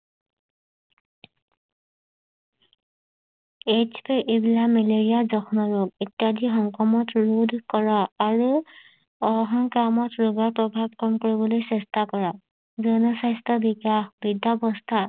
AIDS malaria জহম ৰোগ ইত্যাদি সংক্ৰমণ ৰোধ কৰা আৰু সংক্ৰমক ৰোগৰ প্ৰভাৱ কম পৰিবলৈ চেষ্টা কৰা জন স্বাস্থ্য বিকাশ